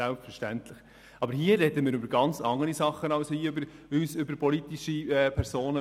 Jedoch sprechen wir hier über ganz andere Dinge als über politische Personen.